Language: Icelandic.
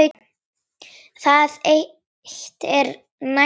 Það eitt er nægt aðhald.